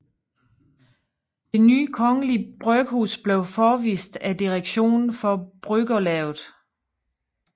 Det nye Kongelige Bryghus blev forevist af direktionen for bryggerlavet